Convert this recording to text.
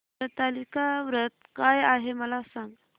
हरतालिका व्रत काय आहे मला सांग